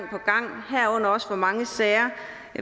herunder også hvor mange sager